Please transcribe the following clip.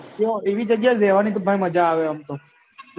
યો એવી જગ્યા રેહવાની જ મજા આવે એમતો